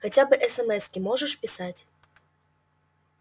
хотя бы эсэмэски можешь писать